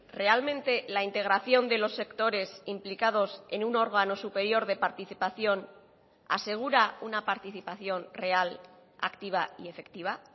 realmente la integración de los sectores implicados en un órgano superior de participación asegura una participación real activa y efectiva